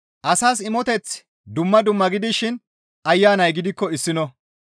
Asas imoteththi dumma dumma gidishin Ayanay gidikko issino.